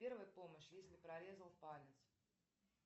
первая помощь если прорезал палец